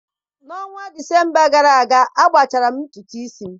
N'ọnwa Disemba gara aga, agbachara m ntutu isi m